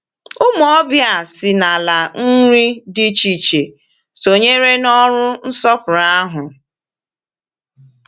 Ụmụ ọbịa si n’ala iri dị iche iche sonyere n’ọrụ nsọpụrụ ahụ.